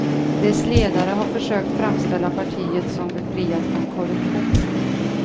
Dess ledare har försökt framställa partiet som befriat från korruption.